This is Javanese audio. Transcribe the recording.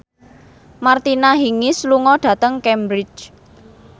Martina Hingis lunga dhateng Cambridge